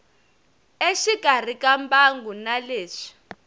exikarhi ka mbangu na leswi